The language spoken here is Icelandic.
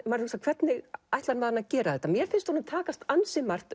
maður hvernig ætlar hann að gera þetta mér finnst honum takast ansi margt